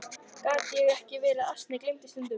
Gat ég ekki verið ansi gleyminn stundum?